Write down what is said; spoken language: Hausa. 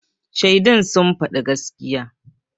Shaidun sun faɗa gaskiya.